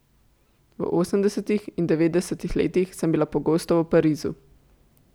V osemdesetih in devetdesetih letih sem bila pogosto v Parizu.